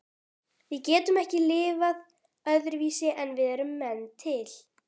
Við getum ekki lifað öðruvísi en við erum menn til.